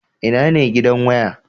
Ina ne gidan waya?